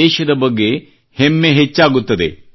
ದೇಶದ ಬಗ್ಗೆ ಹೆಮ್ಮೆ ಹೆಚ್ಚಾಗುತ್ತದೆ